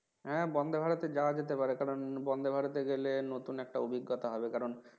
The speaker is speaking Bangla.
হ্যাঁ বন্ধে ভারতে যাওয়া যেতে পারে কারণ Vande, Bharat এ গেলে নতুন একটা অভিজ্ঞতা হবে কারণ